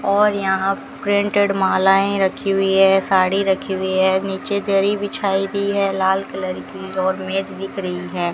और यहां प्रिंटेड मालाएं रखी हुई है साड़ी रखी हुई है नीचे दरी बिछाई हुई है लाल कलर की और मेज दिख रही है।